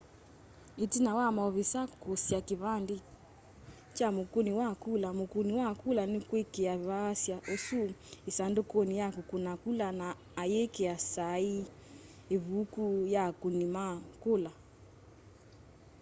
itina wa maovisaa kukusia kivandi kya mukuni wa kula mukuni wa kula nikwikia vaasya usu isandukuni ya kukuna kula na ayikia saii ivuku ya akuni ma kula